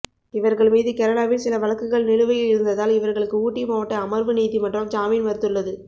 இவர்கள் மீது கேரளாவில் சில வழக்குகள் நிலுவையில் இருந்ததால் இவர்களுக்கு ஊட்டி மாவட்ட அமர்வு நீதிமன்றம் ஜாமின் மறுத்துள்ளது